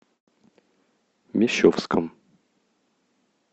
мещовском